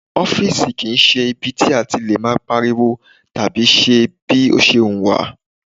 Ọ́fìsì kì í ṣe ibi tí a ti lè máa pariwo tàbí ṣe bí ó ṣe wùn wá